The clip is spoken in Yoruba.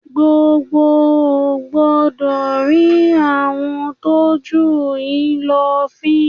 Gbogbo ò gbọ́dọ̀ rín àwọn tó jù yín lọ fín!